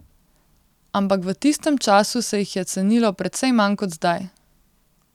Ampak v tistem času se jih je cenilo precej manj kot zdaj.